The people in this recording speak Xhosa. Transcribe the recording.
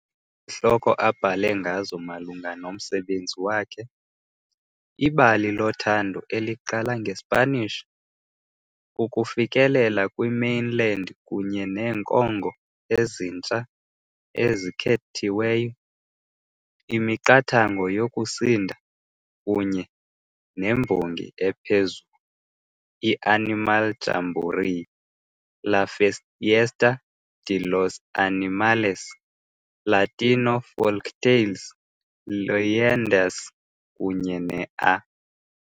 Izihloko abhale ngazo malunga nomsebenzi wakhe - "Ibali loThando eliqala ngeSpanish", "Ukufikelela kwi-Mainland kunye neeNkongo eziNtsha ezikhethiweyo", "iMiqathango yokusinda", kunye "nembongi ephezulu", "i-Animal Jamboree - La Fiesta De Los Animales - Latino Folktales - Leyendas", kunye ne "-A" .